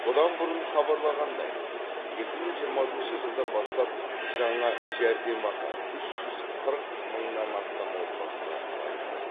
бұдан бұрын хабарланғандай екі мың жиырмасыншы жылдан бастап жаңа жәрдемақы үш жүз қырық мыңнан астам отбасыға тағайындалады